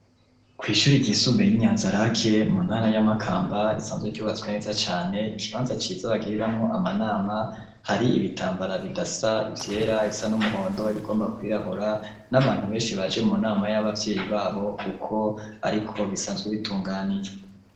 Kw'ishuri ryisumbe y'inyanza rake mu ntara y'amakamba risanzwe ryubatswe neza cane ikibanza ciza bagiriramwo amanama hari ibitambara bidasa ivyera bisa n'umuhondo wibigomba kwirabura n'abantu benshi baje mu nama y'abavyeyi babo, kuko, ariko bisanzwe bitunganijwe.